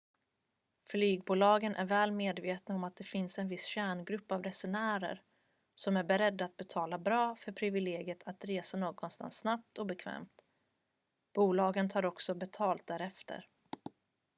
flygbolagen är väl medvetna om att det finns en viss kärngrupp av resenärer som är beredda att betala bra för privilegiet att resa någonstans snabbt och bekvämt bolagen tar också betalt därefter